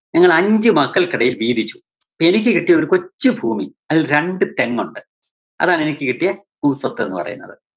ഞങ്ങള് അഞ്ച് മക്കള്‍ക്കദ്ദേഹം വീതിച്ചു. എനിക്ക് കിട്ടിയതൊരു കൊച്ചു ഭൂമി, അതില്‍ രണ്ട് തെങ്ങോണ്ട്. അതാണെനിക്ക് കിട്ടിയ ഭൂസ്വത്ത് എന്നുപറയുന്നത്.